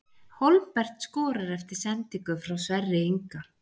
Hólmbert skorar eftir sendingu frá Sverri Inga!